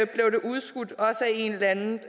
blev det udskudt også af en eller anden